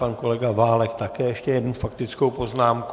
Pan kolega Válek také ještě jednu faktickou poznámku.